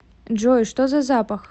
джой что за запах